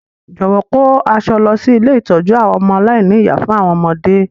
Jọ̀wọ́ kò àwọn aṣọ lọ si ilé ìtójú àwon ọmọ aláìní-ìyá fún àwọn ọmọdé.